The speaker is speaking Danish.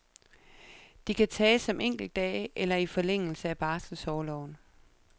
De kan tages som enkeltdage eller i forlængelse af barselsorloven.